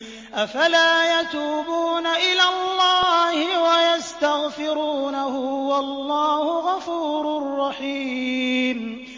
أَفَلَا يَتُوبُونَ إِلَى اللَّهِ وَيَسْتَغْفِرُونَهُ ۚ وَاللَّهُ غَفُورٌ رَّحِيمٌ